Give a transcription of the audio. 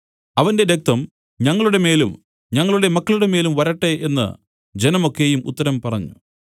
അവന്റെ രക്തം ഞങ്ങളുടെമേലും ഞങ്ങളുടെ മക്കളുടെമേലും വരട്ടെ എന്നു ജനം ഒക്കെയും ഉത്തരം പറഞ്ഞു